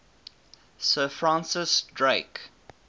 sir francis drake